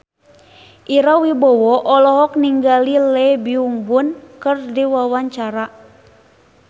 Ira Wibowo olohok ningali Lee Byung Hun keur diwawancara